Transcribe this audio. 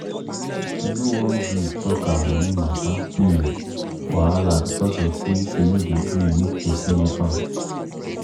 she no wan gree tok her money matter um wahala becos of say she no dey gree make person help am.